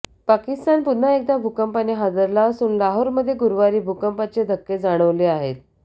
पाकिस्तान पुन्हा एकदा भूकंपाने हादरला असून लाहोरमध्ये गुरुवारी भूकंपाचे धक्के जाणवले आहेत